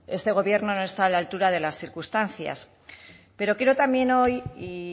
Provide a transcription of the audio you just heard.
este gobierno no está a la altura de las circunstancias pero quiero también hoy y